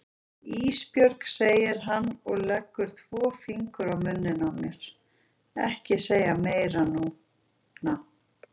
Ísbjörg, segir hann og leggur tvo fingur á munninn á mér, ekki segja meira núna.